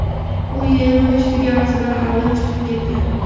U yig‘ilish tugamasidan oldin chiqib ketgan.